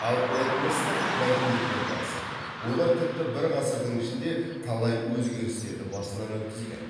ал этностық мәдениеттерді алсақ олар тіпті бір ғасырдың ішінде талай өзгерістерді басынан өткізген